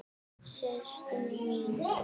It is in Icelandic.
Síst minni.